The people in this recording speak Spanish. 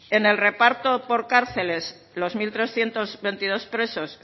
en el reparto por cárceles los mil trescientos veintidós presos